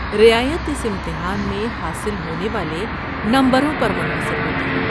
رعایت اس امتحان میں حاصل ہونے والے نمبروں پر منحصر ہوتی ہے۔